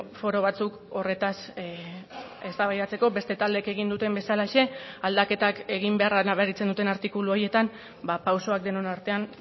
foro batzuk horretaz eztabaidatzeko beste taldeek egin duten bezalaxe aldaketak egin beharra nabaritzen duten artikulu horietan pausoak denon artean